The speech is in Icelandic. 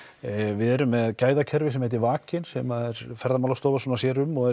við erum með gæðakerfi sem heitir vakinn sem að er Ferðamálastofa sem sér um og er